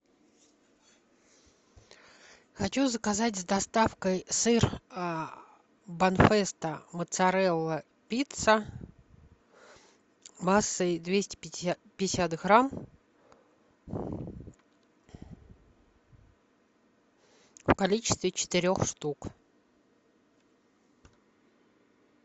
хочу заказать с доставкой сыр бонфесто моцарелла пицца массой двести пятьдесят грамм в количестве четырех штук